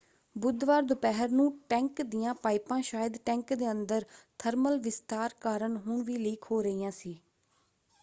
ਬੁੱਧਵਾਰ ਦੁਪਹਿਰ ਨੂੰ ਟੈਂਕ ਦੀਆਂ ਪਾਈਪਾਂ ਸ਼ਾਇਦ ਟੈਂਕ ਦੇ ਅੰਦਰ ਥਰਮਲ ਵਿਸਤਾਰ ਕਾਰਨ ਹੁਣ ਵੀ ਲੀਕ ਹੋ ਰਹੀਆਂ ਸੀ।